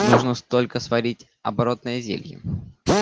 нужно столько сварить оборотное зелье